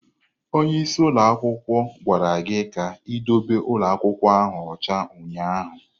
Onye isi ụlọ akwụkwọ gwara gị ka ị dobe ụlọ akwụkwọ ahụ ọcha ụnyaahụ!